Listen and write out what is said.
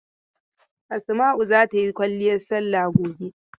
Asma'u za ta yi kwalliyar salla gobe.